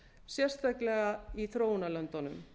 sérstaklega í þróunarlöndunum